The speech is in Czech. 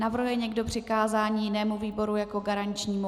Navrhuje někdo přikázání jinému výboru jako garančnímu?